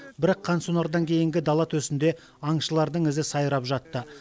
бірақ қансонардан кейінгі дала төсінде аңшылардың ізі сайрап жатты